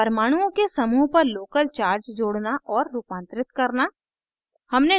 परमाणुओं के समूह पर local charge जोड़ना और रूपांतरित करना